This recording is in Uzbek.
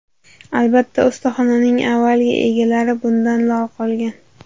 Albatta, ustaxonaning avvalgi egalari bundan lol qolgan.